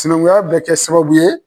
Sinankunya bɛ kɛ sababu ye.